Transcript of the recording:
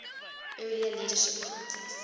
earlier leadership contest